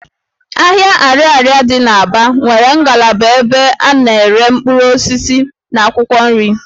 Ahịa Ariaria dị n' Aba nwere ngalaba ebe a na-ere mkpụrụ osisi na akwụkwọ nri